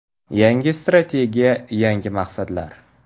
Yangi strategiya – yangi maqsadlar”.